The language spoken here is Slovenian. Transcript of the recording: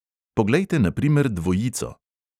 Poglejte na primer dvojico.